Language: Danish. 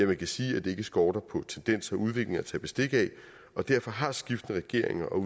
man kan sige at det ikke skorter på tendenser og udviklinger at tage bestik af og derfor har skiftende regeringer og